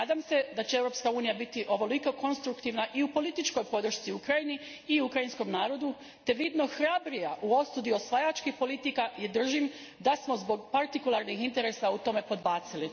Nadam se da će Europska unija biti ovoliko konstruktivna i u političkoj podršci Ukrajini i ukrajinskom narodu te vidno hrabrija u osudi osvajačkih politika i držim da smo zbog partikularnih interesa u tome podbacili.